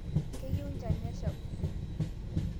Keyieu njan nesha oleng